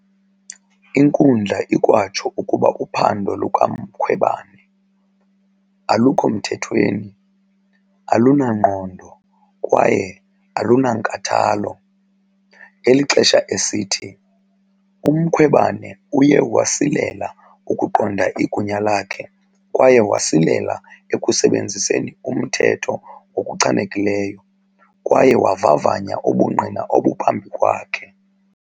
Inkundla ikwatsho ukuba uphando lukaMkhwebane "alukho mthethweni," "alunangqondo" kwaye "alunankathalo" ngelixesha esithi "uMkhwebane uye wasilela ukuqonda igunya lakhe kwaye wasilela ekusebenziseni umthetho ngokuchanekileyo kwaye wavavanya ubungqina obuphambi kwakhe."